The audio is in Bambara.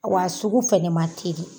Wa sugu fɛnɛ ma teli